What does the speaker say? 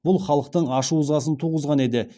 бұл халықтың ашу ызасын туғызған еді